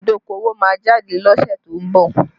Ìpín idokowo máa jáde lọ́sẹ̀ tó ń bọ̀